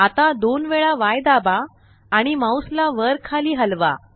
आता दोन वेळा Yदाबा आणि माउस ला वर खाली हलवा